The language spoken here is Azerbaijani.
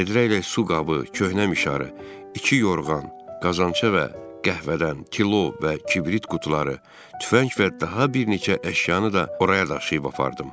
Vedrə ilə su qabı, köhnə mişarı, iki yorğan, qazança və qəhvədən, kilo və kibrit qutuları, tüfəng və daha bir neçə əşyanı da oraya daşıyıb apardım.